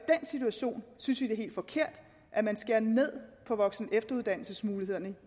den situation synes vi det er helt forkert at man skærer ned på voksen og efteruddannelsesmulighederne